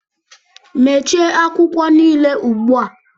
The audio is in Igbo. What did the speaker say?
Mechie akwụkwọ niile ugbu a!